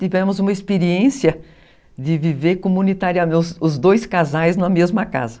Tivemos uma experiência de viver comunitariamente, os dois casais na mesma casa.